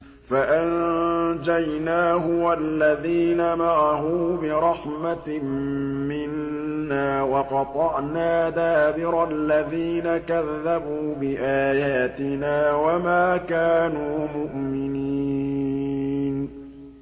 فَأَنجَيْنَاهُ وَالَّذِينَ مَعَهُ بِرَحْمَةٍ مِّنَّا وَقَطَعْنَا دَابِرَ الَّذِينَ كَذَّبُوا بِآيَاتِنَا ۖ وَمَا كَانُوا مُؤْمِنِينَ